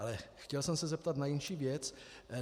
Ale chtěl jsem se zeptat na jinou věc.